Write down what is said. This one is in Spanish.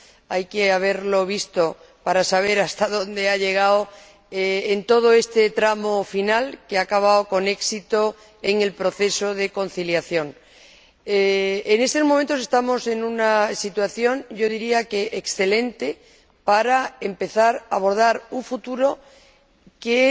Hay que haberlo visto para saber hasta dónde ha llegado en todo este tramo final que ha acabado con éxito en el proceso de conciliación. Yo diría que en estos momentos estamos en una situación excelente para empezar a abordar un futuro que